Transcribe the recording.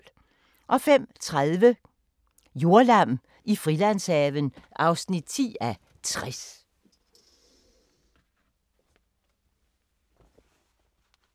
05:30: Jordlam i Frilandshaven (10:60)